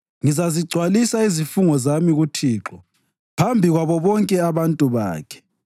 Ngizazigcwalisa izifungo zami kuThixo phambi kwabo bonke abantu bakhe,